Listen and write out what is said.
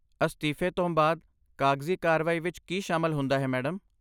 ਅਸਤੀਫ਼ੇ ਤੋਂ ਬਾਅਦ ਕਾਗਜ਼ੀ ਕਾਰਵਾਈ ਵਿੱਚ ਕੀ ਸ਼ਾਮਲ ਹੁੰਦਾ ਹੈ ਮੈਡਮ?